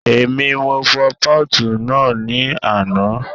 Èmi, mo fọ pọ́ọ̀tù náà ní àná